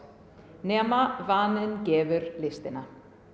nema vaninn gefur listina